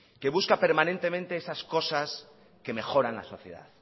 que busca permanentemente esas cosas que mejoran la sociedad